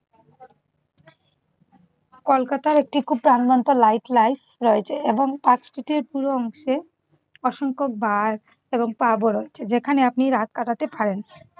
কলকাতার একটি খুব প্রাণবন্ত life light রয়েছে এবং পাঁচ ফিটের পুরো অংশে অসংখ্য বার এবং পাবও রয়েছে। যেখানে আপনি রাত কাটাতে পারেন।